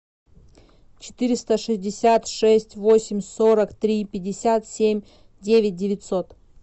четыреста шестьдесят шесть восемь сорок три пятьдесят семь девять девятьсот